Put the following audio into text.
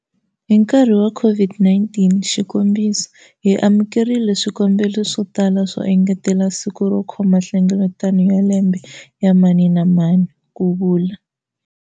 Hi nkarhi wa COVID-19, xikombiso, hi amuke rile swikombelo swo tala swo engetela siku ro kho ma nhlengeletano ya lembe ya mani na mani, ku vula